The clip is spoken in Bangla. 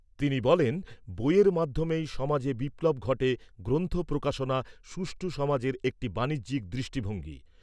তিনি বলেন, বইয়ের মাধ্যমেই সমাজে বিপ্লব ঘটে গ্রন্থ প্রকাশনা সুষ্ঠু সমাজের একটি বানিজ্যিক দৃষ্টিভঙ্গি।